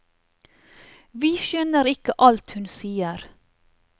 Vi skjønner ikke alt hun sier.